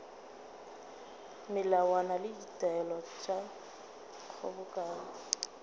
melawana le ditaelo tša kgobokano